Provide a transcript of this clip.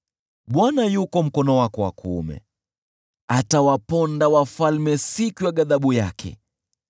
Bwana yuko mkono wako wa kuume, atawaponda wafalme siku ya ghadhabu yake.